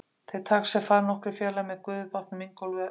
Þeir taka sér far nokkrir félagar með gufubátnum Ingólfi upp í Borgarnes.